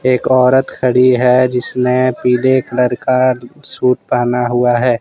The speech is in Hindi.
एक औरत खड़ी है जिसने पीले कलर का सूट पहना हुआ है।